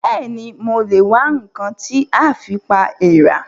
Bẹ́ẹ̀ni, mo lè wá ǹkan tí a fi pa èèrà